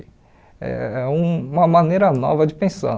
É é uma maneira nova de pensar.